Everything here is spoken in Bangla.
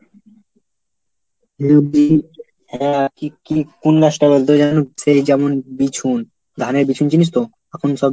হ্যাঁ কি কি কোন গাছটা বলতো যেন সেই যেমন বিছুন, ধানের বিছুন জিনিস তো? এখন সব